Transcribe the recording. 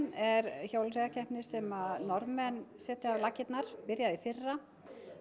er hjólreiðakeppni sem Norðmenn setja á laggirnar og byrjaði í fyrra